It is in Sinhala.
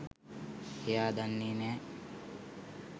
එයා දන්නෙ නෑ